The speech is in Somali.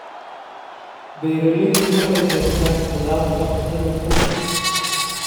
Beeraleydu waxay beertaan khudaarta cuntada qoyska.